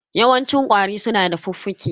Yawancin ƙwari su na da fuffuke.